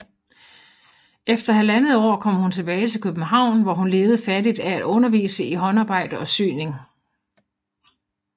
Efter halvandet år kom hun tilbage til København hvor hun levede fattigt af at undervise i håndarbejde og syning